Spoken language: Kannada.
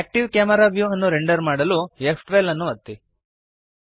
ಆಕ್ಟಿವ್ ಕ್ಯಾಮೆರಾ ವ್ಯೂ ಅನ್ನು ರೆಂಡರ್ ಮಾಡಲು ಫ್12 ಅನ್ನು ಒತ್ತಿರಿ